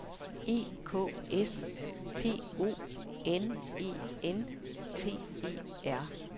E K S P O N E N T E R